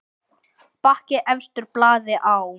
Bakki efstur blaði á.